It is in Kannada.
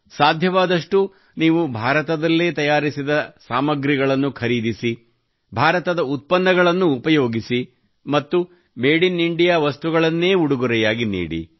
ಸಾಧ್ಯವಾದಷ್ಟು ನೀವು ಭಾರತದಲ್ಲೇ ತಯಾರಿಸಿದ ಸಾಮಾನುಗಳನ್ನು ಖರೀದಿಸಿ ಭಾರತದ ಉತ್ಪನ್ನಗಳನ್ನು ಉಪಯೋಗಿಸಿ ಮತ್ತು ಮೇಡ್ ಇನ್ ಇಂಡಿಯಾ ವಸ್ತುಗಳನ್ನೇ ಉಡುಗೊರೆಯಾಗಿ ನೀಡಿ